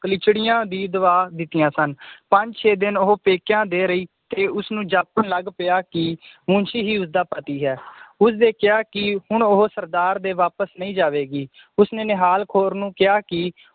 ਕਲੀਚਿੜੀਆਂ ਵੀ ਦਵਾ ਦਿੱਤੀਆਂ ਸਨ ਪੰਜ ਛੇ ਦਿਨ ਉਹ ਪੇਕਿਆਂ ਦੇ ਰਹੀ ਤੇ ਉਸਨੂੰ ਜਾਪਣ ਲੱਗ ਪਿਆ ਕਿ ਮੁਨਸ਼ੀ ਹੀ ਉਸਦਾ ਪਤੀ ਹੈ ਉਸਨੇ ਕਿਹਾ ਕਿ ਹੁਣ ਉਹ ਸਰਦਾਰ ਦੇ ਵਾਪਸ ਨਹੀ ਜਾਵੇਗੀ ਉਸਨੇ ਨਿਹਾਲ ਕੌਰ ਨੂੰ ਕਿਹਾ ਕਿ